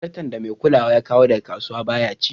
Zarton da mai kulawan ya kawo daga kasuwa baya ci.